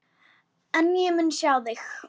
En ég mun sjá þig.